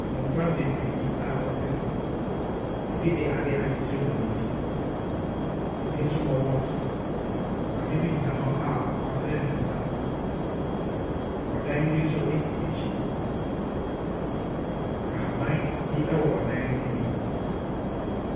Mmofra beberee bi a wɔte fam. Ebi de ade akyekyere wɔn ti. Ebi nso bɔ wɔkye. Maame bi gyina hɔ a w'atene ne nsa. Ɔdan bi nso esi akyi. Ahaban bi ɛwɔ ɔdan no anim.